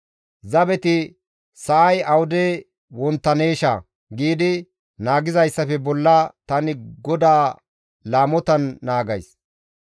Zabeti sa7ay awude wonttaneesha giidi naagizayssafekka bolla tani Goda laamotan naagays.